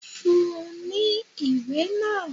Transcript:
Fún ní ìwé náà!